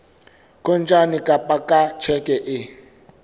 kontane kapa ka tjheke e